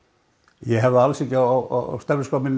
ég hef það ekki á